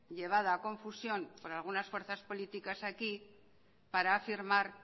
llevada a confusión por algunas fuerzas políticas aquí para afirmar